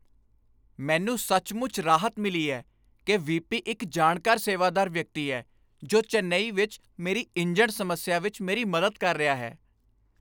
ਮੈਨੂੰ ਸੱਚਮੁੱਚ ਰਾਹਤ ਮਿਲੀ ਹੈ ਕਿ ਵੀ.ਪੀ. ਇੱਕ ਜਾਣਕਾਰ ਸੇਵਾਦਾਰ ਵਿਅਕਤੀ ਹੈ ਜੋ ਚੇਨਈ ਵਿੱਚ ਮੇਰੀ ਇੰਜਣ ਸਮੱਸਿਆ ਵਿੱਚ ਮੇਰੀ ਮਦਦ ਕਰ ਰਿਹਾ ਹੈ।